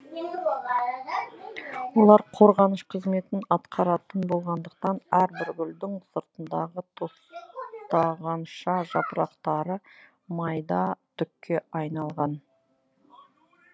олар қорғаныш қызметін атқаратын болғандықтан әрбір гүлдің сыртындағы тостағанша жапырақтары майда түкке айналған